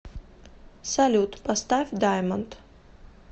салют поставь даймонд